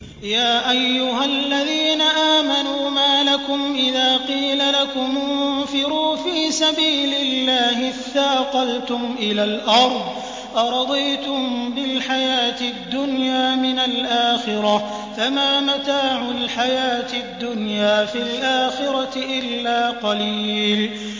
يَا أَيُّهَا الَّذِينَ آمَنُوا مَا لَكُمْ إِذَا قِيلَ لَكُمُ انفِرُوا فِي سَبِيلِ اللَّهِ اثَّاقَلْتُمْ إِلَى الْأَرْضِ ۚ أَرَضِيتُم بِالْحَيَاةِ الدُّنْيَا مِنَ الْآخِرَةِ ۚ فَمَا مَتَاعُ الْحَيَاةِ الدُّنْيَا فِي الْآخِرَةِ إِلَّا قَلِيلٌ